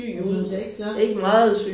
Altså hun ser ikke slank ud